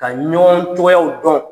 Ka ɲɔgɔn cogoyaw dɔn,